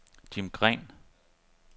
Jim Green